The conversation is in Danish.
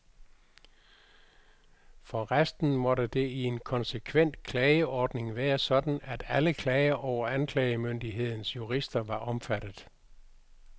For resten måtte det i en konsekvent klageordning være sådan, at alle klager over anklagemyndighedens jurister var omfattet.